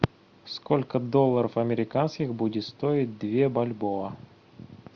сколько долларов американских будет стоить две бальбоа